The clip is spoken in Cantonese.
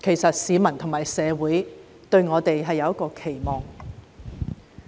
因為市民和社會對我們有所期望。